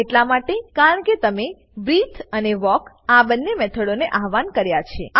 આ એટલા માટે કારણ કે તમે બ્રીથે અને વાલ્ક આ બંને મેથડોને આવ્હાન કર્યા છે